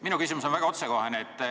Minu küsimus on väga otsekohene.